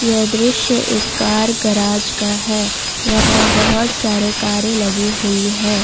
यह दृश्य एक कार गराज का है यहां बहोत सारे कारे लगी हुई है।